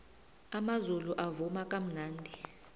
amazulu avuma kamnandi